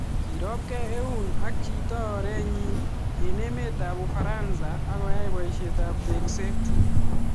Kirop gei Eun ak chito oret nyii eng emet ap Ufaransa agoyai paisiet ap tekset